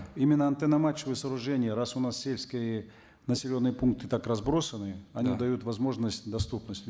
именно антенно мачтовые сооружения раз у нас сельские населенные пункты так разбросаны они дают возможность и доступность